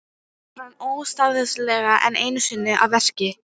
Náttúran ómótstæðilega enn einu sinni að verki.